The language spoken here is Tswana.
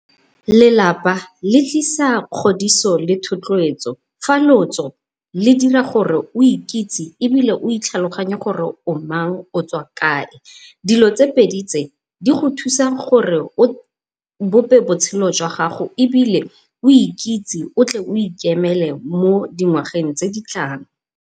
Lelapa le tlisa kgodiso le thotloetso fa lotso le dira gore o ikitse ebile o itlhaloganye gore o mang o tswa kae, dilo tse pedi tse di go thusa gore o bope botshelo jwa gago ebile o ikitse o tle o ikemele mo dingwageng tse ditlang.